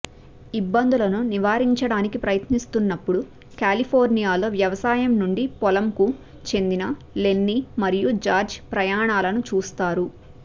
ఇబ్బందులను నివారించడానికి ప్రయత్నిస్తున్నప్పుడు కాలిఫోర్నియాలో వ్యవసాయం నుండి పొలం కు చెందిన లెన్ని మరియు జార్జ్ ప్రయాణాలను చూస్తారు